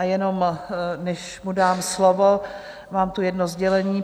A jenom, než mu dám slovo, mám tu jedno sdělení.